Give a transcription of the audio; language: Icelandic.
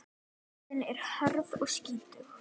Jörðin er hörð og skítug.